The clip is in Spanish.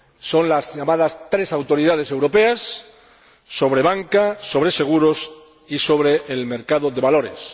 Son las llamadas tres autoridades europeas sobre banca, sobre seguros y sobre el mercado de valores.